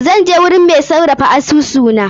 Zan je gurin mai sarrafa asusu na.